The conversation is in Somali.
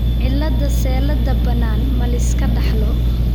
cilada Sellada bannaan ma la iska dhaxlo?